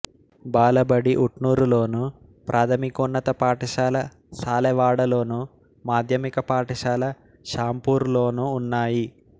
బాలబడి ఉట్నూరులోను ప్రాథమికోన్నత పాఠశాల సాలెవాడలోను మాధ్యమిక పాఠశాల షాంపూర్లోనూ ఉన్నాయి